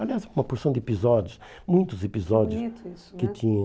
Aliás, uma porção de episódios, muitos episódios, que bonito isso né, que tinha.